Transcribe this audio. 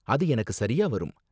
அது எனக்கு சரியா வரும்.